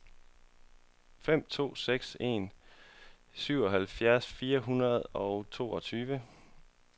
fem to seks en syvoghalvfjerds fire hundrede og toogtyve